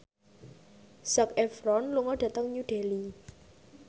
Zac Efron lunga dhateng New Delhi